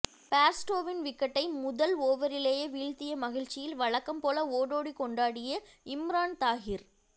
பேர்ஸ்டோவின் விக்கெட்டை முதல் ஓவரிலேயே வீழ்த்திய மகிழ்ச்சியில் வழக்கம்போல ஓடோடி கொண்டாடிய இம்ரான் தாஹிர்